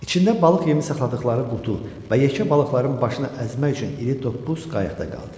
İçində balıq yemi saxladıqları qutu və yekə balıqların başını əzmək üçün iri topbuz qayıqda qaldı.